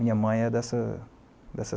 Minha mãe é dessa dessa